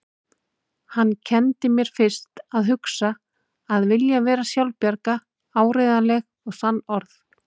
Hann kenndi mér fyrst að hugsa, að vilja vera sjálfbjarga, áreiðanleg og sannorð.